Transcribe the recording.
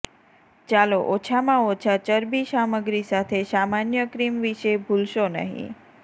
ચાલો ઓછામાં ઓછા ચરબી સામગ્રી સાથે સામાન્ય ક્રીમ વિશે ભૂલશો નહિં